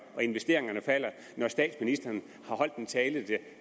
og investeringerne falder når statsministeren har holdt en tale